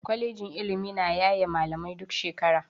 Kwalejin ilimi na yaye malamai duk shekara.